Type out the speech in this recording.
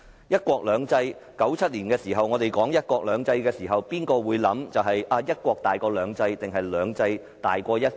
1997年我們說"一國兩制"時，誰會考慮"一國"大於"兩制"，還是"兩制"大於"一國"？